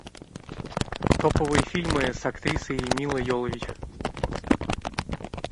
топовые фильмы с актрисой милой йовович